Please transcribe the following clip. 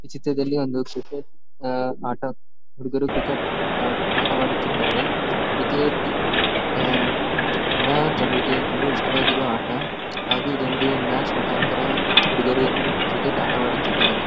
ಈ ಚಿತ್ರದಲ್ಲಿ ಒಂದು ಕ್ರಿಕೆಟ್ ಆಹ್ಹ್ ಆಟ ಹುಡುಗರು ಕ್ರಿಕೆಟ್ ಆ ಆಟ ಆಡುತಿದ್ದರೆ ಕ್ರಿಕೆಟ್ ಎಲ್ಲ ಜನರಿಗೆ ತುಂಬಾ ಇಷ್ಟ ಆಗಿರೋ ಆಟ ಹಾಗೂ ಇದೊಂದು ಮ್ಯಾಚ್ ಮುಖಂತರ ಹುಡುಗರು ಆಟವಾಡುತಿದ್ದರೆ.